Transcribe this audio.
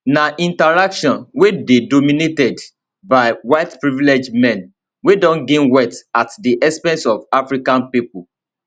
na interaction wey dey dominated by white privileged men wey don gain wealth at di expense of african pipo